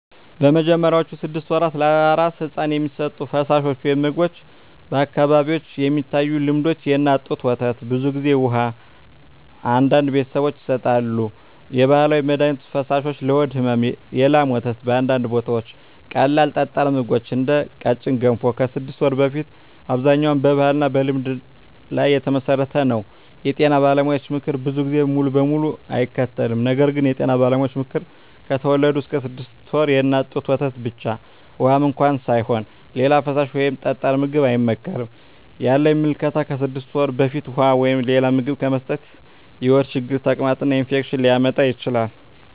በመጀመሪያዎቹ 6 ወራት ለአራስ ሕፃን የሚሰጡ ፈሳሾች/ምግቦች በአካባቢዎች የሚታዩ ልምዶች፦ የእናት ጡት ወተት (ብዙ ጊዜ) ውሃ (አንዳንድ ቤተሰቦች ይሰጣሉ) የባህላዊ መድሀኒት ፈሳሾች (ለሆድ ሕመም) የላም ወተት (በአንዳንድ ቦታዎች) ቀላል ጠጣር ምግቦች (እንደ ቀጭን ገንፎ) ከ6 ወር በፊት አብዛኛው በባህልና በልምድ ላይ የተመሠረተ ነው የጤና ባለሙያዎች ምክር ብዙ ጊዜ ሙሉ በሙሉ አይከተልም ነገር ግን የጤና ባለሙያዎች ምክር፦ ከተወለዱ እስከ 6 ወር ድረስ የእናት ጡት ወተት ብቻ (ውሃም እንኳ ሳይሆን) ሌላ ፈሳሽ ወይም ጠጣር ምግብ አይመከርም ያለኝ ምልከታ ከ6 ወር በፊት ውሃ ወይም ሌላ ምግብ መስጠት የሆድ ችግር፣ ተቅማጥ እና ኢንፌክሽን ሊያመጣ ይችላል